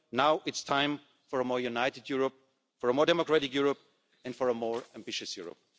are over. Now it's time for a more united Europe, for a more democratic Europe and for a more ambitious Europe.